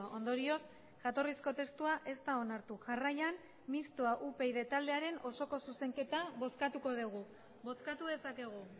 ondorioz jatorrizko testua ez da onartu jarraian mistoa upyd taldearen osoko zuzenketa bozkatuko dugu bozkatu dezakegu